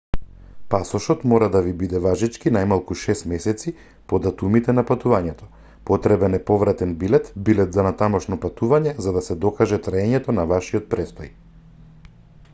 пасошот мора да ви биде важечки најмалку 6 месеци по датумите на патувањето. потребен е повратен билет/билет за натамошно патување за да се докаже траењето на вашиот престој